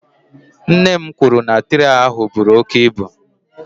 Nne m kwuru na traị ahụ buru oke ibu.